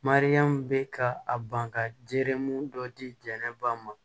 Mariyamu bɛ ka a ban ka jeli mun dɔ di jɛnɛba ma